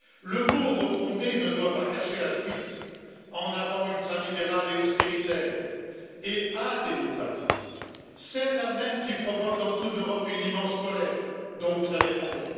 Le mot refonder ne doit pas cacher la fuite en avant, ultralibérale, austéritaire et adémocratique, celle là même qui provoque dans toute l'Europe une immense colère, dont vous avez parlé.